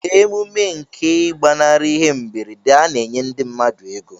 Na emume nke igbanari ihe mberede ana enye ndi mmadu ego.